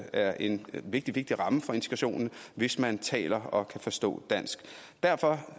er en vigtig vigtig ramme for integrationen hvis man taler og kan forstå dansk derfor